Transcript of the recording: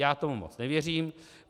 Já tomu moc nevěřím.